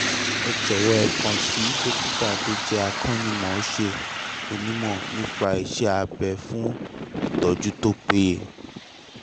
ẹ jọ̀wọ́ ẹ kàn sí dókítà tó jẹ́ akọ́ṣẹ́mọṣẹ́ onímọ̀ nípa iṣẹ́-abẹ fún ìtọ́jú tó péye